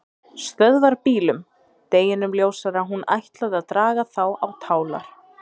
Stöðvarbílum, deginum ljósara að hún ætlaði að draga þá á tálar.